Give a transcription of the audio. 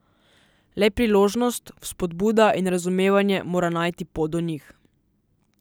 Le priložnost, vzpodbuda in razumevanje mora najti pot do njih.